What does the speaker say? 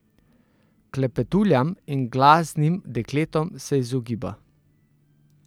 Klepetuljam in glasnim dekletom se izogiba.